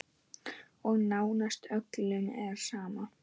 Og nánast öllum er sama.